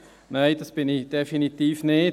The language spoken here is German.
Nein, das bin ich definitiv nicht.